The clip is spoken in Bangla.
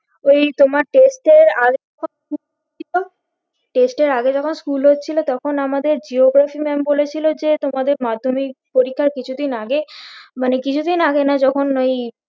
ওই তোমার test এর আগে যখন school ছিল test এর আগে যখন school হচ্ছিল তখন আমাদের Geography maam বলেছিল যে তোমাদের মাধ্যমিক পরিক্ষার কিছুদিন আগে মানে কিছুদিন আগে না যখন ওই